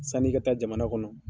Sani i ka taa jamana kɔnɔ